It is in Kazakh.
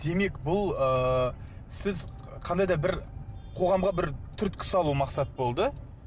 демек бұл ыыы сіз қандай да бір қоғамға бір түрткі салу мақсат болды